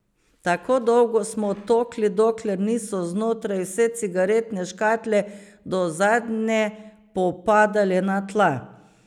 Tako dolgo smo tolkli, dokler niso znotraj vse cigaretne škatle do zadnje popadale na tla.